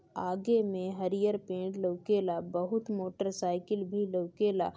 आगे मैं हरियर पेड़ लौकेला बोहोत मोटर साइकिल भी लौकेला।